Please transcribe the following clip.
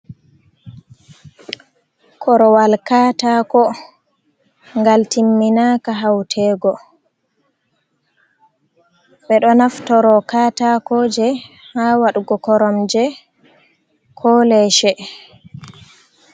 Korowal kataako ngal timminaka hautego, ɓe ɗo naftoro kaataako je ha waɗugo korom je ko leshe.